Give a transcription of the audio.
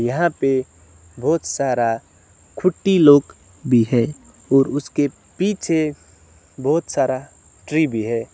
यहां पे बहुत सारा कुट्टी लोग भी है और उसके पीछे बहुत सारा ट्री भी है।